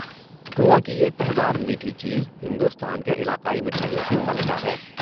گوا کی یہ تہہ دار میٹھی چیز ہندوستان کی علاقائی مٹھائیوں کی ملکہ ہے۔